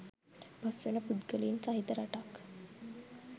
පස් වෙන පුද්ගලයින් සහිත රටක්